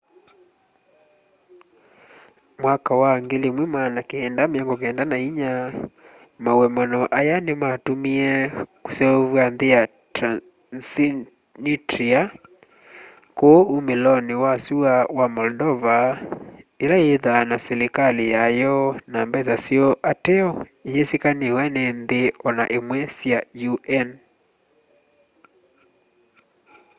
mwaka wa 1994 maũemano aya nĩmatũmĩe kũseũvw'a nthĩ ya transnistria kũũ ũmĩlonĩ wa sũa wa moldova ĩla yĩthaa na silĩkalĩ yayo na mbesa syoo ateo ĩyĩsĩkanĩwe nĩ nthĩ ona ĩmwe sya un